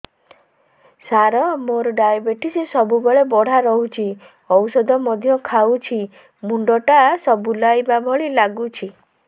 ସାର ମୋର ଡାଏବେଟିସ ସବୁବେଳ ବଢ଼ା ରହୁଛି ଔଷଧ ମଧ୍ୟ ଖାଉଛି ମୁଣ୍ଡ ଟା ବୁଲାଇବା ଭଳି ଲାଗୁଛି